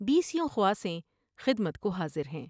بیسیوں خواصیں خدمت کو حاضر ہیں ۔